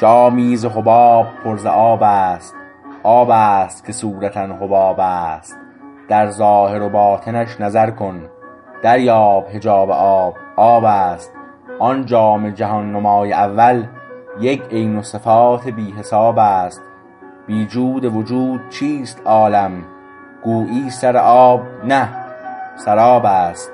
جامی ز حباب پر ز آب است آب است که صورتا حباب است در ظاهر و باطنش نظر کن دریاب حجاب آب آب است آن جام جهان نمای اول یک عین و صفات بی حساب است بی جود وجود چیست عالم گویی سر آب نه سراب است